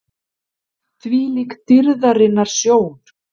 ÞVÍLÍK DÝRÐARINNAR SJÓN!